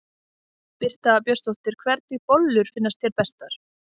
Birta Björnsdóttir: Hvernig bollur finnst þér bestar?